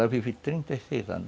Lá vivi trinta e seis anos.